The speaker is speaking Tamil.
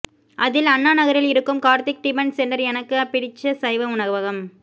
அதில் அண்ணாநகரில் இருக்கும் கார்த்திக் டிபன் சென்டர் எனக்கு பிடிச்ச சைவ உணவகம்